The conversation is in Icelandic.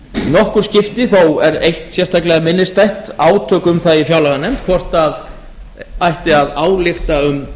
nokkur skipti þó er eitt sérstaklega minnisstætt átök um það í fjárlaganefnd hvort ætti að álykta um